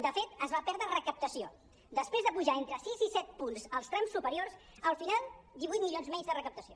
de fet es va perdre recaptació després d’apujar entre sis i set punts els trams superiors al final divuit milions menys de recap·tació